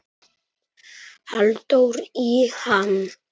Halldór í ham